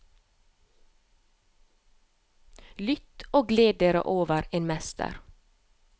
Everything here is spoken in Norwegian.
Lytt og gled dere over en mester.